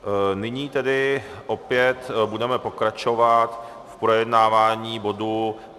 Nyní tedy opět budeme pokračovat v projednávání bodu